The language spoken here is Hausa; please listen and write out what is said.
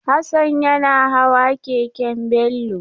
Hassan yana hawa keken Bello.